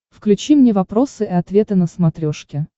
включи мне вопросы и ответы на смотрешке